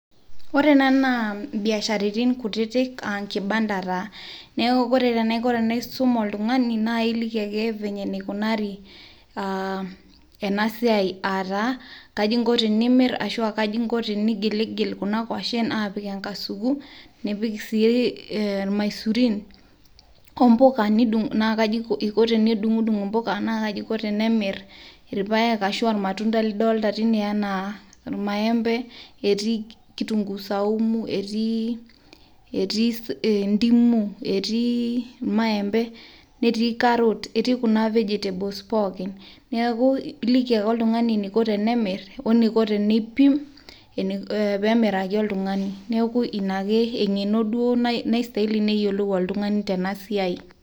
Ore ena naa mbiasharani kutitik aa enkibanda taa, neaku ore eisum oltunagni naa iliki ake eneikunari ena siaai aataa kaji inko teniimirr ashuu kaji inko teniigilhilnkuna koshen aapik enkasuku nipik sii imasurin ,ombuka naa kaji inko tenidung'dun' imbuka naa kaji eiko tenemir ilpaek ashuu aalmatunda nidolita teine anaa lmaembe etii kitunguu sumu etii indimu etii lmaembe netii [cs carrot ,netii kuna vegetables pookin, neaku iliki ake ltungani neiko tenemirr oneiko teneiim peemirraki oltungani, naaku ina duo engeno naistahili peeyiolou oltunani.